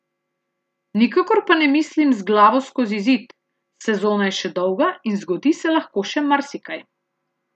Nikakor pa ne mislim z glavo skozi zid, sezona je še dolga in zgodi se lahko še marsikaj.